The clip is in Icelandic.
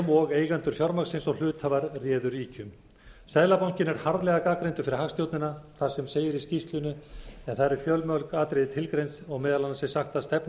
sem og eigendur fjármagnsins og hluthafar réðu ríkjum seðlabankinn er harðlega gagnrýndur fyrir hagstjórnina þar sem segir í skýrslunni en þar eru fjölmörg atriði tilgreind og meðal annars er sagt